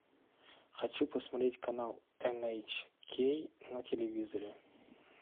хочу посмотреть канал эн эйч кей на телевизоре